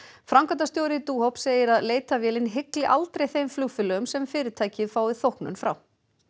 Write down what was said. framkvæmdastjóri segir að leitarvélin hygli aldrei þeim flugfélögum sem fyrirtækið fái þóknun frá